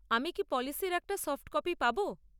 আমি কি পলিসির একটা সফট কপি পাব?